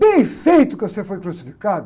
Bem feito que você foi crucificado!